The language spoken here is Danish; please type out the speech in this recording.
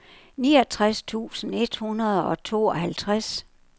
niogtres tusind et hundrede og tooghalvtreds